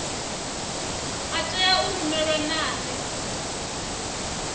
a tea u rumelwa nane